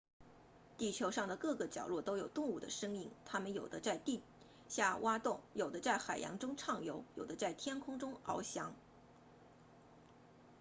地球上的各个角落都有动物的身影它们有的在地下挖洞有的在海洋中畅游有的在天空中翱翔